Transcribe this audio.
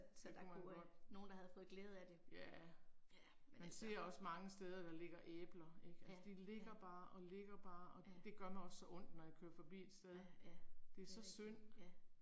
Det kunne man godt. Ja. Man ser også mange steder der ligger æbler ik. Altså de ligger bare og ligger bare og det gør mig også så ondt når jeg kører forbi et sted. Det er så synd